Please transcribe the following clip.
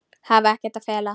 Hafa ekkert að fela.